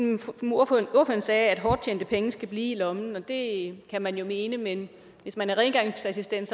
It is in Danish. ordføreren sagde at hårdt tjente penge skal blive i lommen og det kan man jo mene men hvis man er rengøringsassistent